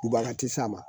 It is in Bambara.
Kubaga ti se a ma